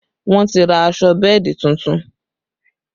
Wọ́n ti ra aṣọ bẹ́ẹ̀dì tuntun